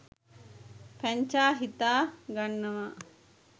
පැංචා හිතා ගන්නවා